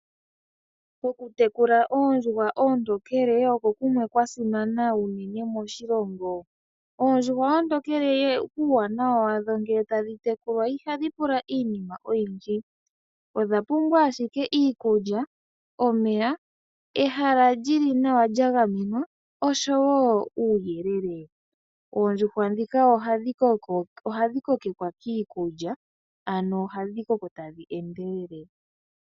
Okutekula oondjuhwa oontokele oko kumwe kwasimana unene moshilongo. Oondjuhwa oontokele uuwanawa wadho ngele tadhi tekulwa ihadhi pula iinima oyindji odha pumbwa ashike iikulya omeya ehala lili nawa lyagamenwa oshowo uuyele . Oondjuhwa ndhika ohadhi kokekwa kiikulya nohadhi koko tadhi endelele .